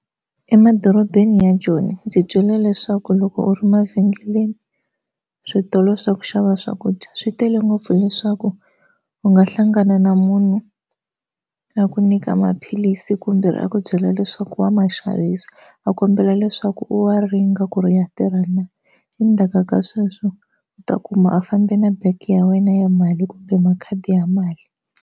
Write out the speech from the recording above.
Emadorobeni ya Joni ndzi twile leswaku loko u ri mavhengeleni switolo swa ku xava swakudya swi tele ngopfu hileswaku u nga hlangana na munhu a ku nyika ma philisi kumbe a ku byela leswaku wa ma xaviselo a kombela leswaku u wa ringe ku ri ya tirha na endzhaku ka sweswo u ta kuma a fambe na bag ya wena ya mali kumbe makhadi ya mali.